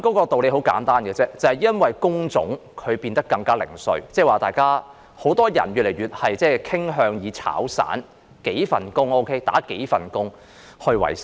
道理很簡單，就是因為工種變得更零碎，越來越多人傾向"炒散"，就是做數份工作維生。